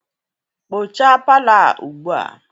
kpochaa palọ a ugbu a!